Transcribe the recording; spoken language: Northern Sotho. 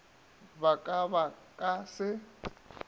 ba ka ba ka se